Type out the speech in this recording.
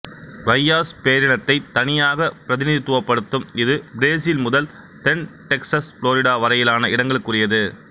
ரையாஸ் பேரினத்தை தனியாக பிரதிநிதித்துவப்படுத்தும் இது பிரேசில் முதல் தென் டெக்சஸ் புளோரிடா வரையான இடங்களுக்குரியது